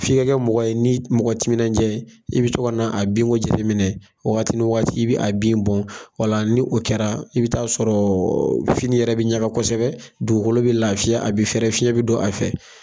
F'i ka kɛ mɔgɔ ye mɔgɔ timinandiya, i bɛ to ka na a binko jate minɛ waati ni waati, i bɛ a bin bɔ, o la ni o kɛra, i bɛ t'a sɔrɔ fini yɛrɛ bɛ ɲaga kosɛbɛ, dugukolo bɛ lafiya a bɛ fɛɛrɛ ,fiɲɛ bɛ don a fɛ.